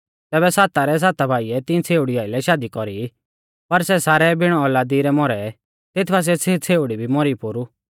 तैबै साता रै साता भाइऐ तिऐं छ़ेउड़ी आइलै शादी कौरी पर सै सारै बिण औलादी रै मौरै तेथ बासिऐ सै छ़ेउड़ी भी मौरी पोरु